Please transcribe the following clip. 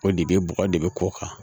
O de bɛ bɔgɔ de bɛ kɔ kan